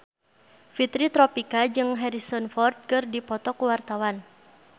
Fitri Tropika jeung Harrison Ford keur dipoto ku wartawan